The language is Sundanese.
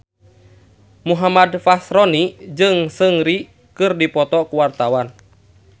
Muhammad Fachroni jeung Seungri keur dipoto ku wartawan